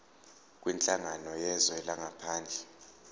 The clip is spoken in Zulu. kwinhlangano yezwe langaphandle